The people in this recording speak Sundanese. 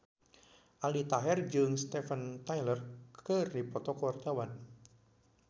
Aldi Taher jeung Steven Tyler keur dipoto ku wartawan